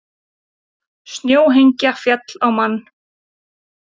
Snjóhengja féll á mann